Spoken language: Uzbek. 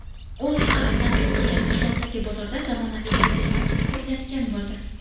O‘zA tanqid qilgan Toshloqdagi bozorda zamonaviy gipermarket quriladigan bo‘ldi.